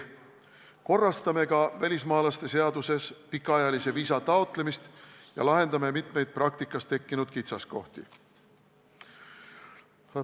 Korrastame ka välismaalaste seaduses pikaajalise viisa taotlemist ja lahendame mitmeid praktikas tekkinud kitsaskohti.